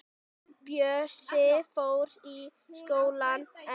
Bjössi fór í skólann en